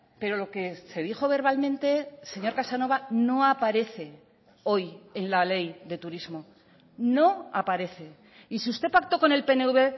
pero lo que se dijo verbalmente señor casanova no aparece hoy en la ley de turismo no aparece y si usted pactó con el pnv